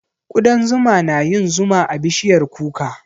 Ƙudan zuma na yin zuma a bishiyar kuka.